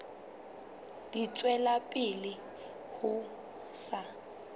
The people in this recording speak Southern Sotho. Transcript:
di tswela pele ho sa